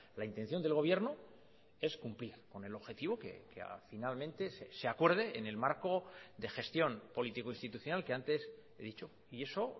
la intención del gobierno es cumplir con el objetivo que finalmente se acuerde en el marco de gestión político institucional que antes he dicho y eso